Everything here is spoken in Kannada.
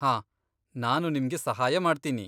ಹಾಂ, ನಾನು ನಿಮ್ಗೆ ಸಹಾಯ ಮಾಡ್ತೀನಿ.